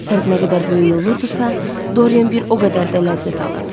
Fərq nə qədər böyük olurdisa, Dorian bir o qədər də ləzzət alırdı.